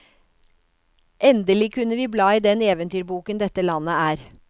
Endelig kunne vi bla i den eventyrboken dette landet er.